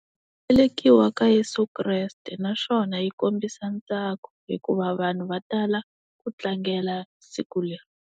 Velekiwa ka Yeso Kreste naswona yi kombisa ntsako hikuva vanhu va tala ku tlangela siku leri.